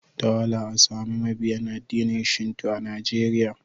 Da wahala a sami mabiyin addinin Shinto a Najeriya.